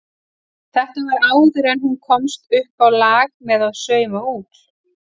Þetta var áður en hún komst uppá lag með að sauma út.